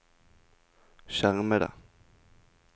skjermede